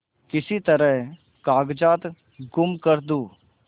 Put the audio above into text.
किसी तरह कागजात गुम कर दूँ